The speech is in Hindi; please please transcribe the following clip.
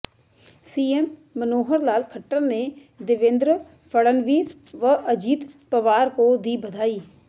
सीएम मनोहर लाल खट्टर ने देवेंद्र फडणवीस व अजीत पवार को दी बधाई